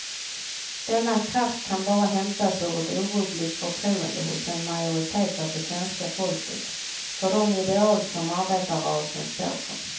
Denna kraft kan bara hämtas ur ett orubbligt förtroende hos en majoritet av det svenska folket för de ideal som arbetarrörelsen står för.